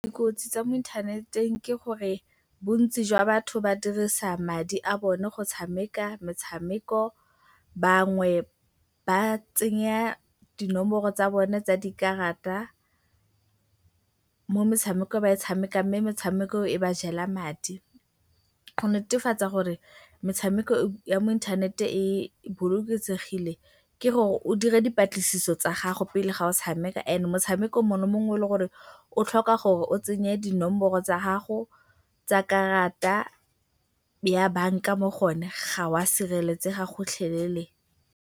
Dikotsi tsa mo inthaneteng ke gore bontsi jwa batho ba dirisa madi a bone go tshameka metshameko, bangwe ba tsenya dinomoro tsa bone tsa dikarata mo metshamekong e ba e tshamekang mme metshameko e ba jela madi. Go netefatsa gore metshameko ya mo inthanete e bolokesegile ke gore o dire dipatlisiso tsa gago pele fa o tshameka and motshameko mongwe le mongwe o leng gore o tlhoka gore o tsenye dinomoro tsa gago tsa karata ya banka mo go one ga o a sireletsega gotlhelele.